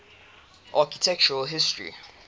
architectural history